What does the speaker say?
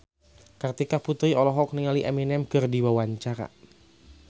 Kartika Putri olohok ningali Eminem keur diwawancara